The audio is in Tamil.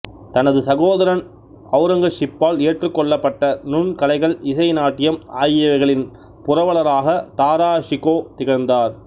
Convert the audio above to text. தனது சகோதரன் ஔரங்கசீப்பால் ஏற்றுக்கொள்ளப்பட்டத நுண் கலைகள் இசை நாட்டியம் ஆகியவைகளின் புரவலராகத் தாரா ஷிகோ திகழ்ந்தார்